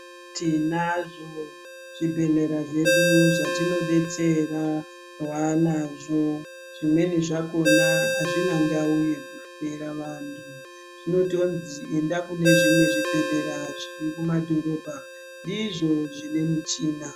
Tinazvo zvibhehlera zvedu zvatinodetsera vaanazvo. Zvimweni zvakona azvina ndau yekuhloyera vantu zvinotonzi enda kune zvimwe zvibhehlera zviri kumadhorobha ndizvo zvine michina.